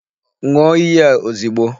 N̄ụọ iyi a ozigbo!